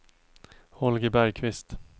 Holger Bergkvist